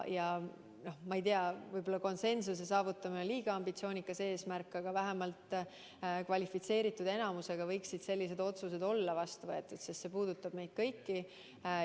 Ma ei tea, võib-olla konsensuse saavutamine on liiga ambitsioonikas eesmärk, aga vähemalt kvalifitseeritud enamusega võiksid sellised otsused olla vastu võetud, sest see puudutab meid kõiki.